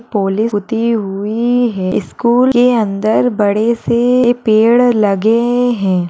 Polish पुती हुई है। स्कूल के अन्दर बड़े से पेड़ लगे हैं।